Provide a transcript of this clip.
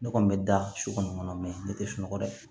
Ne kɔni bɛ da su kɔnɔ ne tɛ sunɔgɔ dɛ